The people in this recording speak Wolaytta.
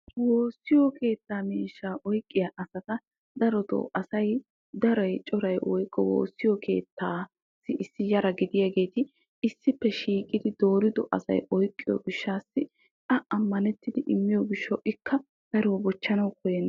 Woossiyo keettaa miishshaa oyikkiya asata darotoo asay woyikko coray woossiyo keettaassi Yara gidiyageeti issippe shiiqidi doorido asay oyikkiyo gishshaassi a ammanettidi immiyo gishshawu ikka daruwa bochchanawu koyyenna.